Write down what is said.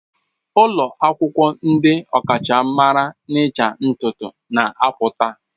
Ụlọ akwụkwọ ndị ọkachamara n'ịcha ntutu na-apụta.